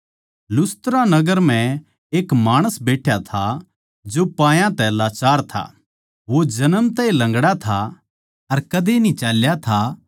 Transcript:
लुस्त्रा नगर म्ह एक माणस बैठ्या था जो पायां तै लाचार था वो जन्म तै ए लंगड़ा था अर कदे न्ही चाल्या था